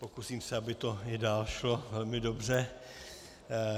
Pokusím se, aby to i dál šlo velmi dobře.